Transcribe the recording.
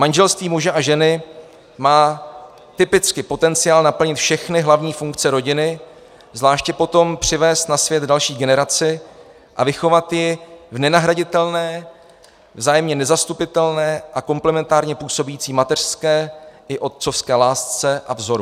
Manželství muže a ženy má typicky potenciál naplnit všechny hlavní funkce rodiny, zvláště potom přivést na svět další generaci a vychovat ji v nenahraditelné, vzájemně nezastupitelné a komplementárně působící mateřské i otcovské lásce a vzoru.